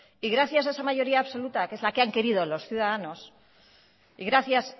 y gracias a esa mayoría absoluta que es la que han querido los ciudadanos y gracias